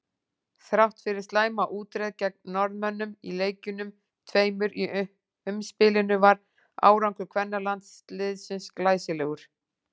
Þrátt fyrir slæma útreið gegn Norðmönnum í leikjunum tveimur í umspilinu var árangur kvennalandsliðsins glæsilegur.